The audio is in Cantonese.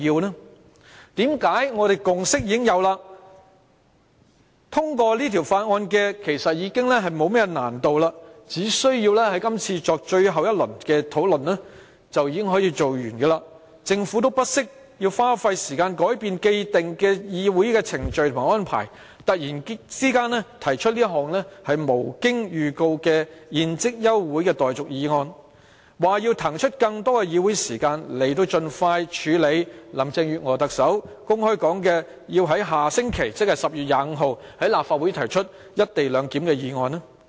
我們已經有共識，要通過這項《條例草案》沒有太大難度，只需要作最後一輪討論便可以完成立法，為何政府不惜花時間改變既定的議會程序和安排，突然提出這項無經預告的休會待續議案，說要騰出更多議會時間，以盡快處理特首林鄭月娥公開說要在下星期在立法會提出"一地兩檢"的議案？